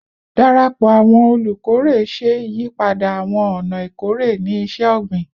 Darapọ awọn olukore ṣe iyipada awọn ọna ikore ni iṣẹ-ogbin